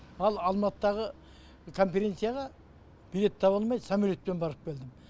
ал алматыдағы конференцияға билет таба алмай самолетпен барып келдім